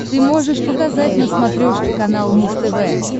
ты можешь показать на смотрешке канал муз тв